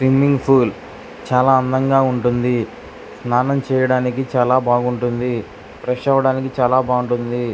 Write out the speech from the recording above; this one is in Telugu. స్విమ్మింగ్ పూల్ చాలా అందంగా ఉంటుంది స్నానం చేయడానికి చాలా బాగుంటుంది ఫ్రెష్ అవ్వడానికి చాలా బావుంటుంది.